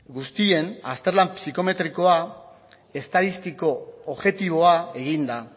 guztien azterlan psikometriko estatistiko objektiboa egin da